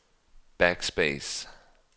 backspace